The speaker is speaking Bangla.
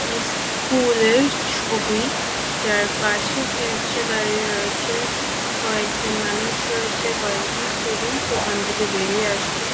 একটি স্কুলের ছবি যার পাশে একটি রিক্সে দাঁড়িয়ে রয়েছে কয়েকজন মানুষ রয়েছে কয়েকজন স্টুডেন্ট সেখান থেকে বেরিয়ে আসছেন ।